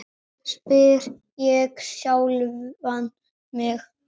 spyr ég sjálfan mig.